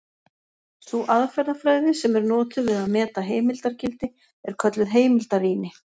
Sú aðferðafræði sem er notuð við að meta heimildargildi er kölluð heimildarýni.